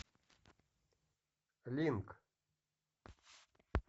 линк